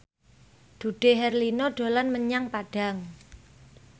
Dude Herlino dolan menyang Padang